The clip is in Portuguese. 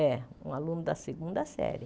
É, um aluno da segunda série.